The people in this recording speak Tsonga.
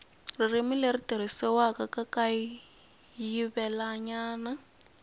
ririmi leri tirhisiwaka ra kayivelanyana